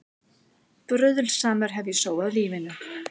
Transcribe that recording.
Bruðlsamur hef ég sóað lífinu.